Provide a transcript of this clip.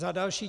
Za další.